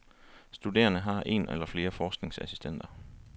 Studerende har en eller flere forskningsassistenter.